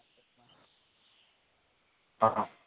હ હ